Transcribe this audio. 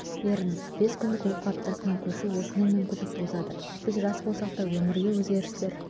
беріңіз бес күндік оқу аптасына көшу осындай мүмкіндік туғызады біз жас болсақ та өмірге өзгерістер